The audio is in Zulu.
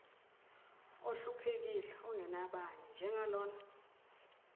ohluphekile ongenabani njengalona